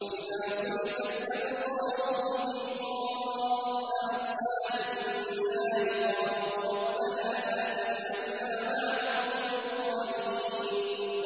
۞ وَإِذَا صُرِفَتْ أَبْصَارُهُمْ تِلْقَاءَ أَصْحَابِ النَّارِ قَالُوا رَبَّنَا لَا تَجْعَلْنَا مَعَ الْقَوْمِ الظَّالِمِينَ